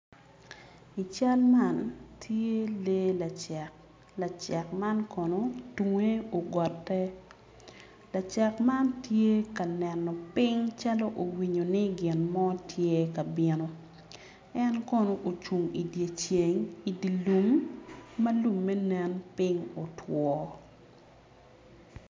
I cal ma tye lee lacek lacek mam tunge ogotte lacek man tye ka neno piny calo owinyo gin mo tye ka bino en kono ocung i dye lum lumme kone tye otwo.